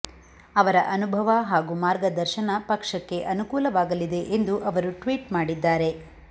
ಅವರ ಅನುಭವ ಹಾಗೂ ಮಾರ್ಗದರ್ಶನ ಪಕ್ಷಕ್ಕೆ ಅನುಕೂಲವಾಗಲಿದೆ ಎಂದು ಅವರು ಟ್ವೀಟ್ ಮಾಡಿದ್ದಾರೆ